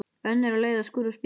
Önnur á leið að skúra spítala.